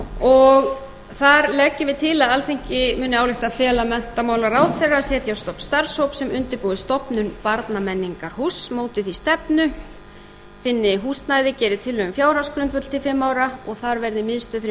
og þar leggjum við til að alþingi muni álykta að fela menntamálaráðherra að setja á stofn starfshóp sem undirbúi stofnun barnamenningarhúss móti því stefnu finni húsnæði og geri tillögu um fjárhagsgrundvöll til fimm ára og þar verði miðstöð fyrir